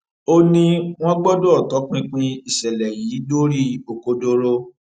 ó ní wọn gbọdọ tọpinpin ìṣẹlẹ yìí dórí òkodoro